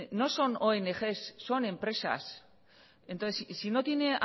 no son ongs son empresas entonces si no tiene